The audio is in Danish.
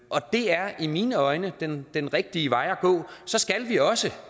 er i mine øjne den den rigtige vej at gå så skal vi også